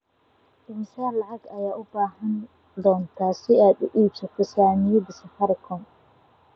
Immisa lacag ah ayaad u baahan doontaa si aad u iibsato saamiyada safaricom?